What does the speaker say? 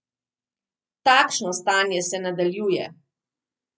Takšno stanje se nadaljuje!